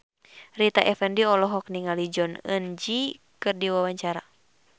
Rita Effendy olohok ningali Jong Eun Ji keur diwawancara